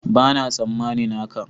Bana tsammanin haka.